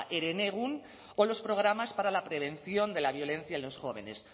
herenegun o los programas para la prevención de la violencia en los jóvenes